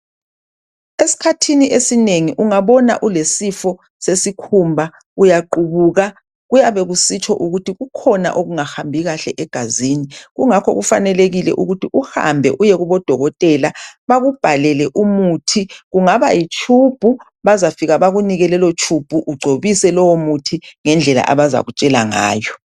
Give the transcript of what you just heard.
esikhathini esinengi ungabona ulesifo sesikhumba uyaqhubuka kuyabe kusitsho ukuthi kukhona okungahambi kahle egazini kungakho kufanelekile ukuthi uhambe uyekubo dokotela bakubhalele umuthi kungaba yi tube bazafika bakunike lelo tube ugcobise lowo muthi ngendlela abazakutshela ngayo